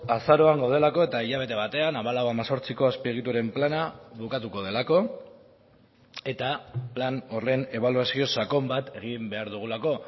azaroan gaudelako eta hilabete batean hamalau hemezortziko azpiegituren plana bukatuko delako eta plan horren ebaluazio sakon bat egin behar dugulako